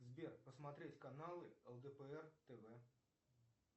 сбер посмотреть каналы лдпр тв